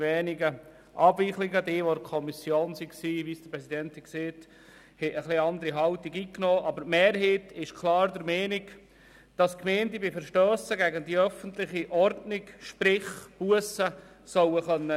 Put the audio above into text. Unsere Kommissionsmitglieder haben eine etwas andere Haltung eingenommen, aber die Mehrheit will klar, dass die Gemeinden bei Verstössen gegen die öffentliche Ordnung Bussen erheben können.